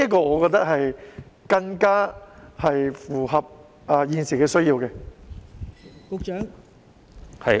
我覺得這更符合現時的需要。